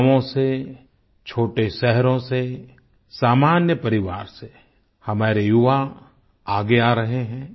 गांवों से छोटे शहरों से सामान्य परिवार से हमारे युवा आगे आ रहे हैं